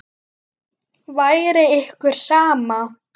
Væri ykkur sama?